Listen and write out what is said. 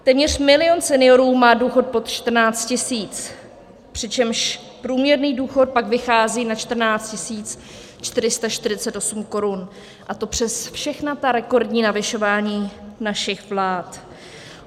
Téměř milion seniorů má důchod pod 14 tisíc, přičemž průměrný důchod pak vychází na 14 448 korun, a to přes všechna ta rekordní navyšování našich vlád.